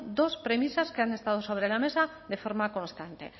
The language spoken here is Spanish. dos premisas que han estado sobre la mesa de forma constante